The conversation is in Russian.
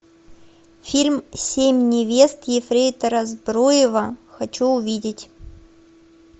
фильм семь невест ефрейтора збруева хочу увидеть